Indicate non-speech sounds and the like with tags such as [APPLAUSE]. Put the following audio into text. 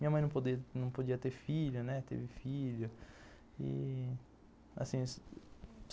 Minha mãe não [UNINTELLIGIBLE] podia ter filho, teve filho, assim,